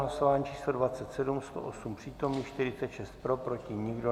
Hlasování číslo 27, 108 přítomných, 46 pro, proti nikdo.